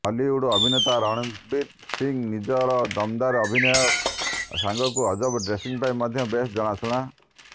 ବଲିଉଡ୍ ଅଭିନେତା ରଣବୀର ସିଂହ ନିଜର ଦମଦାର ଅଭିନୟ ସାଙ୍ଗକୁ ଅଜବ ଡ୍ରେସିଂ ପାଇଁ ମଧ୍ୟ ବେଶ୍ ଜଣାଶୁଣା